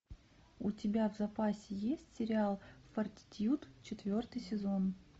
у тебя в запасе есть сериал фортитьюд четвертый сезон